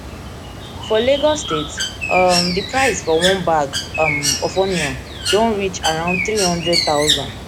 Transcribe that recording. for lagos state um di price for one bag um of onion onion don reach around three hundred thousand